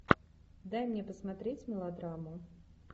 дай мне посмотреть мелодраму